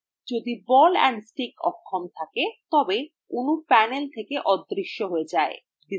যদি ball and stick অক্ষম থাকে তবে অণু panel থেকে অদৃশ্য হয়ে যায়